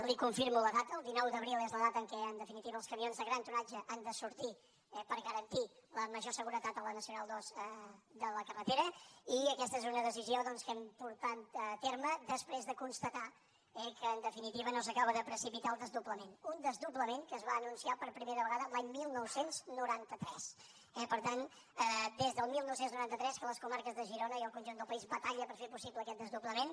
li confirmo la data el dinou d’abril és la data en què en definitiva els camions de gran tonatge han de sortir per garantir la major seguretat a la nacional ii de la carretera i aquesta és una decisió doncs que hem portat a terme després de constatar que en definitiva no s’acaba de precipitar el desdoblament un desdoblament que es va anun ciar per primera vegada l’any dinou noranta tres eh per tant des del dinou noranta tres que les comarques de girona i el conjunt del país batalla per fer possible aquest desdoblament